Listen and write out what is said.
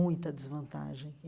Muita desvantagem.